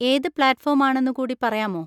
ഏത് platform ആണെന്ന് കൂടി പറയാമോ?